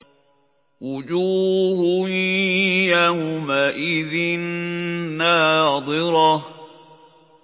وُجُوهٌ يَوْمَئِذٍ نَّاضِرَةٌ